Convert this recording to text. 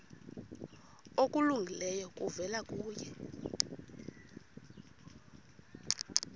okulungileyo kuvela kuye